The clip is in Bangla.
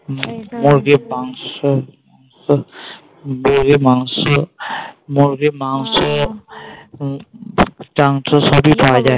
মুরগির মাংস যে মাংস মুরগির মাংস তাাংশ সবই পাওয়া যায়